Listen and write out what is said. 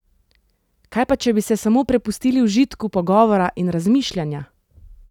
Kaj pa, če bi se samo prepustili užitku pogovora in razmišljanja?